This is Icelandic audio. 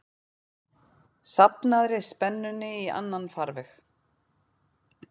safnaðri spennunni í annan farveg.